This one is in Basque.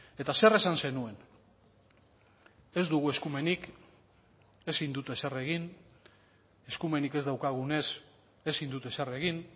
eta zer esan zenuen ez dugu eskumenik ezin dut ezer egin eskumenik ez daukagunez ezin dut ezer egin